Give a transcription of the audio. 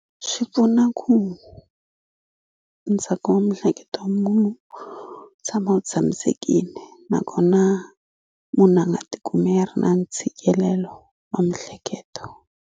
Swi pfuna ku ntsako wa mihleketo munhu tshama u tshamisekini nakona munhu a nga tikumi a ri na ntshikelelo wa mihleketo.